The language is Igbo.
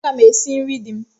Aga m esi nri di m.